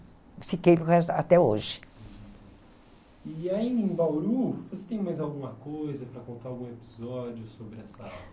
fiquei para o resto, até hoje. E aí, em Bauru, você tem mais alguma coisa para contar, algum episódio sobre essa...